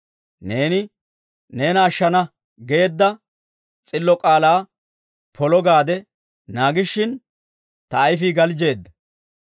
Neeni, «neena ashshana» geedda s'illo k'aalaa polo gaade naagishin, ta ayifii galjjeedda.